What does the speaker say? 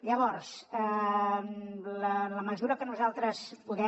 llavors en la mesura que nosaltres podem